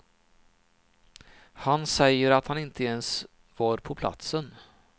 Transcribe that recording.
Han säger att han inte ens var på platsen.